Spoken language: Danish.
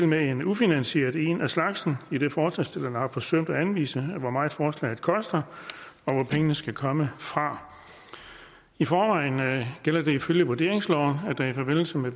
med en ufinansieret en af slagsen idet forslagsstillerne har forsømt at anvise hvor meget forslaget koster og hvor pengene skal komme fra i forvejen gælder det ifølge vurderingsloven at der i forbindelse med